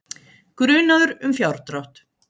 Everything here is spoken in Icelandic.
Grunaður um fjárdrátt